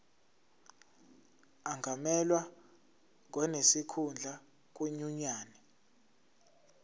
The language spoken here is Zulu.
angamelwa ngonesikhundla kwinyunyane